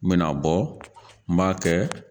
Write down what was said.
N mɛna bɔ n m'a kɛ